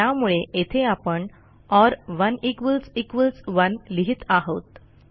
त्यामुळे येथे आपणor 1 इक्वॉल्स इक्वॉल्स 1 लिहित आहोत